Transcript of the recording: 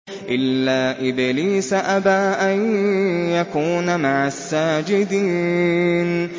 إِلَّا إِبْلِيسَ أَبَىٰ أَن يَكُونَ مَعَ السَّاجِدِينَ